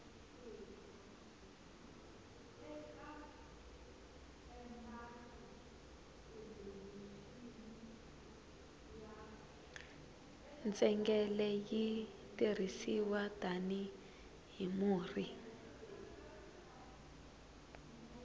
ntsengele yi tirhisiwa tani hi murhi